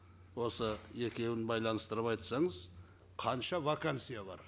осы екеуін байланыстырып айтсаңыз қанша вакансия бар